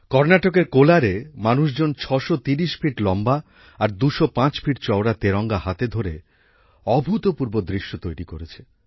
কর্ণাটকের কোলারে মানুষজন ছশো তিরিশ ফিট লম্বা আর দুশো পাঁচ ফিট চওড়া তেরঙ্গা হাতে ধরে অভূতপূর্ব দৃশ্য তৈরি করেছে